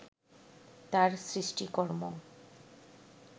তাঁর সৃষ্টিকর্ম